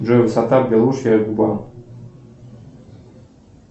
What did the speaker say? джой высота белушья губа